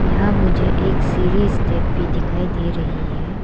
यहां मुझे एक सीढ़ी स्टेप भी दिखाई दे रही है।